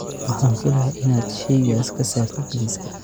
Waxaan filayaa in aad shaygaas ka saartid liiska